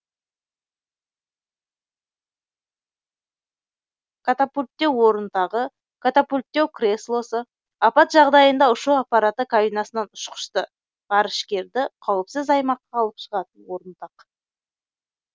катапульттеу орынтағы катапульттеу креслосы апат жағдайында ұшу аппараты кабинасынан ұшқышты ғарышкерді қауіпсіз аймаққа алып шығатын орынтақ